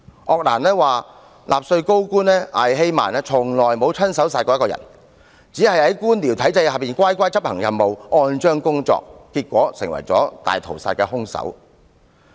鄂蘭說的納粹高官艾希曼從未親手殺過一個人，只是在官僚體制下乖乖地執行任務，按章工作，結果成為大屠殺的兇手。